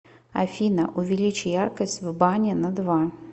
афина увеличь яркость в бане на два